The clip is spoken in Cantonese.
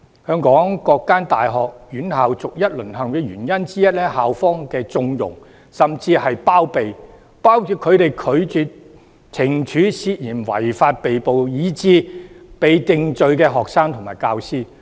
香港各所大專院校逐一"淪陷"的原因之一，是校方的縱容甚至是包庇，包括拒絕懲處涉嫌違法被捕，以致已被定罪的學生和教師。